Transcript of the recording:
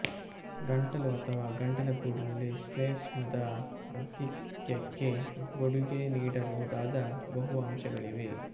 ಗಂಟಲು ಅಥವಾ ಗಂಟಲಗೂಡಿನಲ್ಲಿ ಶ್ಲೇಷ್ಮದ ಆಧಿಕ್ಯಕ್ಕೆ ಕೊಡುಗೆ ನೀಡಬಹುದಾದ ಬಹು ಅಂಶಗಳಿವೆ